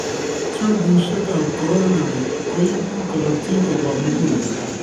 Tubisiek ab coronary koibu korotik koba muguleldo